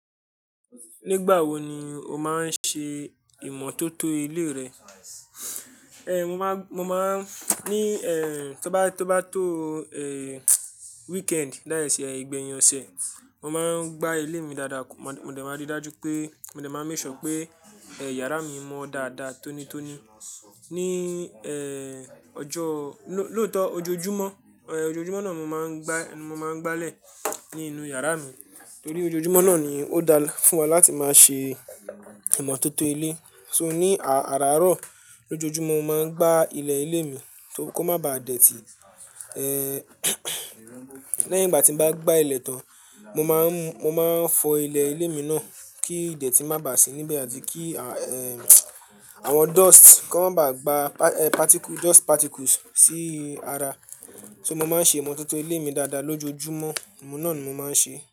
Nígbà wo ni o máa ń ṣe ìmọ́tótó ilé rẹ? Mọ máa, mọ máa ń ní tó bá, tó bá tó weekend dá ìs ìgbẹ́yin oṣẹ. Mọ máa ń gbá ilé mi dáadáa. Mọ de, mọ de máa ríi dájú pé, mo de máa ń make sure pé yàrá mi mọ́ dáadáa tónítóní. Ní ọjọ́, lóótọ́ ojoojúmọ́, ojoojúmọ́ náà mo máa ń gbá, mo máa ń gbá lẹ̀ nínú yàrá mi. Torí ojoojúmọ́ náà ni ó dáa fún wa láti máa ṣe ìmọ́tótó ilé. So ní ààrárọ̀ lójoojúmọ́ mo máa ń gbá ilẹ̀ ilé mi kó má ba dẹ̀tí. Lẹ́yìn ìgbà tí mo bá gbá ilẹ̀ tán, mo máa ń, mo máa ń fọ ilẹ̀ ilé mi náà kí ìdẹ̀tì má bà sí níbẹ̀ àti kí àwọn dust kó má ba gba particle, dust particles sí ara. So mo máa ń ṣe ìmọ́tótó ilé mi dáadáa lójoojúmọ́. Òun náà ni mo máa ń ṣe.